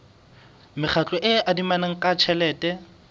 mekgatlo e adimanang ka tjhelete